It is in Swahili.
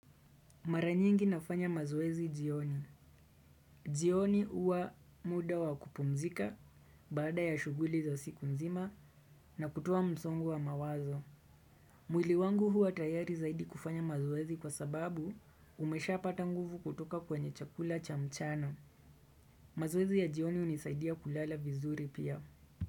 Maranyingi nafanya mazoezi jioni. Jioni uwa muda wa kupumzika baada ya shuguli za siku nzima na kutoa msongo wa mawazo. Mwiliwangu huwa tayari zaidi kufanya mazoezi kwa sababu umesha patanguvu kutoka kwenye chakula cha mchana. Mazoezi ya jioni unisaidia kulala vizuri pia.